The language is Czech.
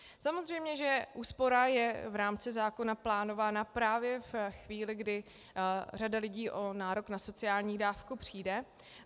Samozřejmě že úspora je v rámci zákona plánována právě ve chvíli, kdy řada lidí o nárok na sociální dávku přijde.